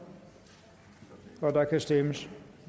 og der kan stemmes